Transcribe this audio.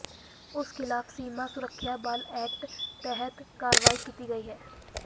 ਉਸ ਖ਼ਿਲਾਫ਼ ਸੀਮਾ ਸੁਰੱਖਿਆ ਬਲ ਐਕਟ ਤਹਿਤ ਕਾਰਵਾਈ ਕੀਤੀ ਗਈ ਹੈ